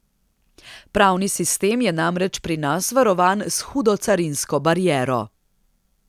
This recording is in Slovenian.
Pravni sistem je namreč pri nas varovan s hudo carinsko bariero.